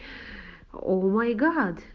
оу май гад